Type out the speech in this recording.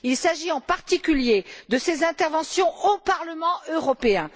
il s'agit, en particulier, de ses interventions au Parlement européen.